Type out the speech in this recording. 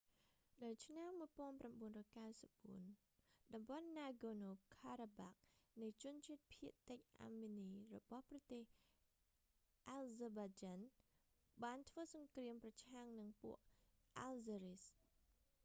នៅឆ្នាំ 1994 តំបន់ណាហ្គរណូ ការ៉ាបាក់ nagorno-karabak នៃជនជាតិភាគតិចអាមិននីរបស់ប្រទេស អាហ្សឺបៃចាន់ azerbaijan បានធ្វើសង្គ្រាមប្រឆាំងនឹងពួក អាហ្សឺរីស azeris